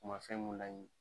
U ma fɛn mun laɲi